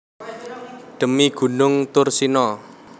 Dhemi gunung Thursina